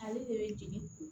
Ale de bɛ jigin